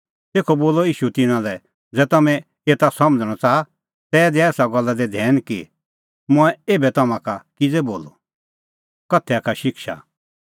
तेखअ बोलअ ईशू तिन्नां लै ज़ै तम्हैं एता समझ़णअ च़ाहा तै दै एसा गल्ला दी धैन कि मंऐं एभै तम्हां का किज़ै बोलअ